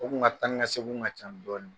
U ka taa ni ka segin kun ka ca dɔɔni.